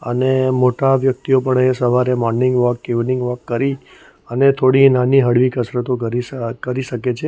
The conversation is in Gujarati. અને મોટા વ્યક્તિઓ પણ એ સવારે મોર્નિંગ વૉક ઇવનિંગ વોક કરી અને થોડી નાની હળવી કસરતો કરી શ કરી શકે છે.